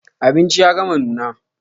Abinci ya gama nuna.